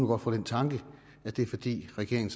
godt få den tanke at det er fordi regeringen